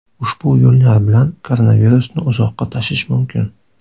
Ushbu yo‘llar bilan koronavirusni uzoqqa tashish mumkin.